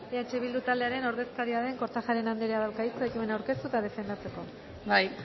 eh bildu taldearen ordezkaria den kortajarena andreak dauka hitza ekimena aurkeztu eta defendatzeko bai